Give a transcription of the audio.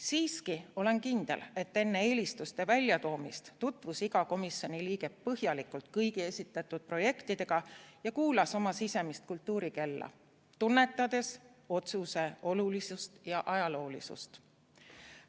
Siiski olen kindel, et enne eelistuste väljatoomist tutvus iga komisjoni liige põhjalikult kõigi esitatud projektidega ja kuulas oma sisemist kultuurikella, tunnetades otsuse olulisust ja ajaloolisust.